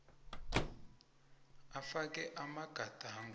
iii afake amagadango